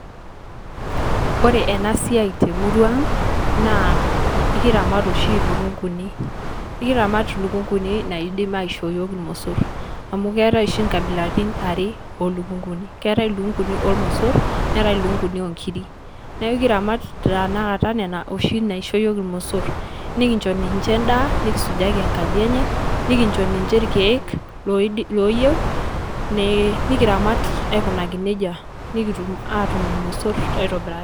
Ore ena siai te murua aang' naa ekiramat oshi ilukung'uni, ekiramat ilukung'uni naidim aishoo iyiok irmosor amu keetai oshi nkabilatin are oo lukung'uni. Keetai ilukung'uni ormosor neetai lukung'uni oo nkirik. Neeku kiramat tenakata nena oshi naisho iyiok irmosor, nekinjo ninje endaa, nekisujaki enkaji enye, nekinjo ninje irkeek loidi looyeu nee nekiramat aikunaki neija nekitum aatum irmosor aitobiraki.